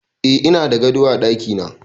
Eh ina da gado a dakina